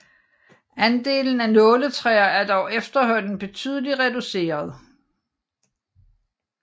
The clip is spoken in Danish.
Andelen af nåletræer er dog efterhånden betydelig reduceret